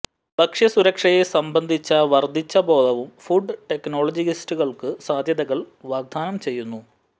ഭക്ഷ്യസുരക്ഷയെ സംബന്ധിച്ച വർദ്ധിച്ച ബോധവും ഫുഡ് ടെക്നോളജിസ്റ്റുകൾക്കു സാധ്യതകൾ വാഗ്ദാനം ചെയ്യുന്നു